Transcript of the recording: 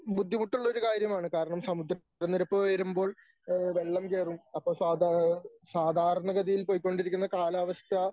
ബുദ്ധിമുട്ടുള്ള ഒരു കാര്യമാണ് കാരണം സമുദ്രനിരപ്പ് ഉയരുമ്പോൾ ഏഹ് വെള്ളം കയറും അപ്പോൾ സാധാ സാധാരണഗതിയിൽ പൊയ്ക്കൊണ്ടിരിക്കുന്ന കാലാവസ്ഥ